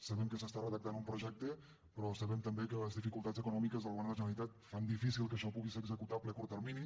sabem que se n’està redactant un projecte però sabem també que les dificultats econòmiques del govern de la generalitat fan difícil que això pugui ser executable a curt termini